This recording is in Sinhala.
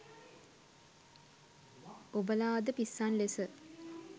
ඔබලා අද පිස්සන් ලෙස